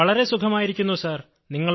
വളരെ സുഖമായിരിക്കുന്നു സർ